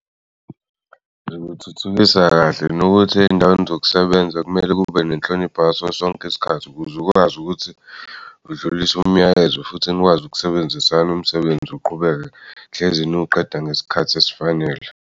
Zikuthuthukisa kahle nokuthi ey'ndaweni zokusebenza kumele kube nenhlonipho ngaso sonke isikhathi ukuze ukwazi ukuthi udlulise umyalezo futhi nikwazi ukusebenzisana umsebenzi uqhubeke hlezi niwuqeda ngesikhathi esifanele.